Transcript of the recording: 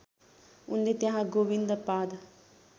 उनले त्यहाँ गोविन्दपाद